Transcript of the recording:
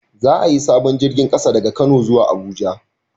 Za a yi sabon jirgin ƙasa daga kano zuwa Abuja